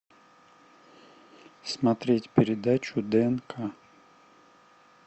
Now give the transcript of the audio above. смотреть передачу днк